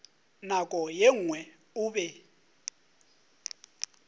nako ye nngwe o be